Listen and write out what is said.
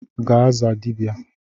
Gaa zaa dibia!